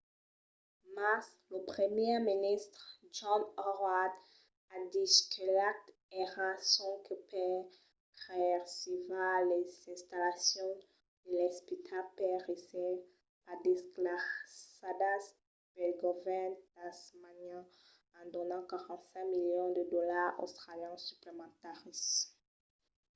mas lo primièr ministre john howard a dich que l'acte èra sonque per preservar las installacions de l'espital per èsser pas desclassadas pel govèrn tasmanian en donant 45 milions de dolars australians suplementaris